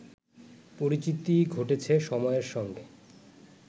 পরিচিতি ঘটেছে সময়ের সঙ্গে